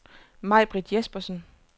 Maibritt Jespersen